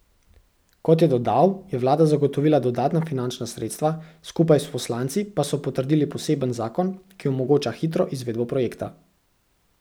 Kot je dodal, je vlada zagotovila dodatna finančna sredstva, skupaj s poslanci pa so potrdili poseben zakon, ki omogoča hitro izvedbo projekta.